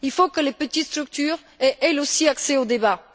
Il faut que les petites structures aient, elles aussi, accès au débat.